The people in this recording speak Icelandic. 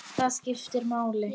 Það skipti máli.